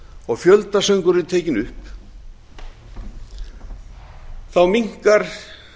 og fjöldasöngur er tekinn upp minnkar